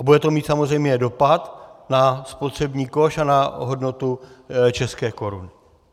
A bude to mít samozřejmě dopad na spotřební koš a na hodnotu české koruny.